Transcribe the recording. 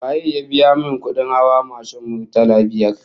Waye ya biya min kudin hawa mashin, murtala biyar?